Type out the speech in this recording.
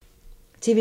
TV 2